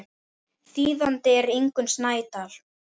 Þýðandi er Ingunn Snædal.